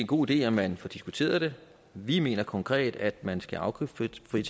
god idé at man får diskuteret det vi mener konkret at man skal afgiftsfritage